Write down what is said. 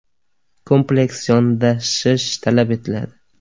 Kompleks yondashish talab etiladi.